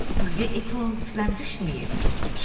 çox güman quyuya Eflant filan düşməyib.